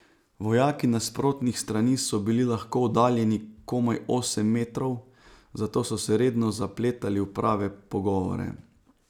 Vojaki nasprotnih strani so bili lahko oddaljeni komaj osem metrov, zato so se redno zapletali v prave pogovore.